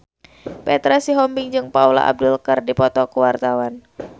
Petra Sihombing jeung Paula Abdul keur dipoto ku wartawan